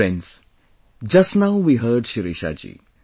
Friends, just now we heard Shirisha ji